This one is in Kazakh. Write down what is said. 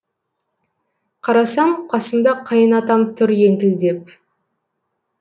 қарасам қасымда қайын атам тұр еңкілдеп